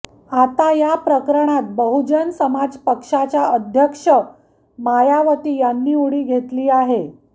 आता या प्रकरणात बहुजन समाज पक्षाच्या अध्यक्ष मायावती यांनी उडी घेतली आहे